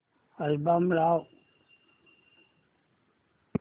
album लाव